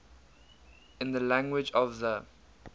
in the language of the